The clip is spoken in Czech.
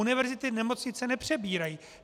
Univerzity nemocnice nepřebírají.